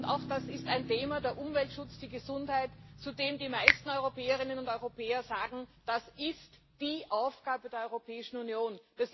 Auch das ist ein Thema der Umweltschutz, die Gesundheit zu dem die meisten Europäerinnen und Europäer sagen, das ist die Aufgabe der Europäischen Union.